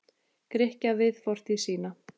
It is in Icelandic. Grikkja við fortíð sína.